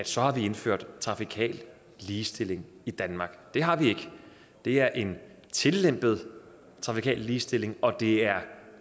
så har indført trafikal ligestilling i danmark det har vi ikke det er en tillempet trafikal ligestilling og det er